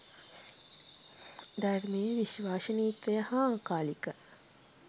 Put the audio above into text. ධර්මයේ විශ්වසනීයත්වය හා අකාලික